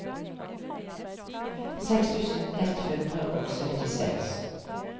seks tusen ett hundre og syttiseks